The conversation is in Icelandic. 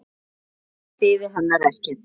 Kannski biði hennar ekkert.